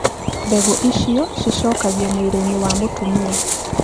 Mbegũ icio cicokagio mwĩrĩ-inĩ wa mũtumia.